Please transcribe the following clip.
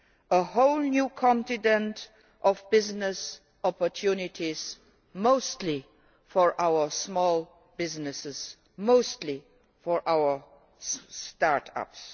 a whole new continent of business opportunities mostly for our small businesses, mostly for our start ups.